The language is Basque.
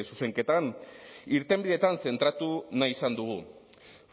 zuzenketan irtenbideetan zentratu nahi izan dugu